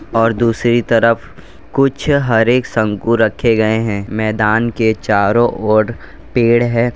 और दूसरी तरफ कुछ हरे शंकु रखे गए हैं मैदान के चारो ओर पेड़ है।